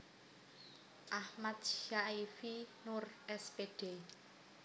Akhmad Syaifi Noer S Pd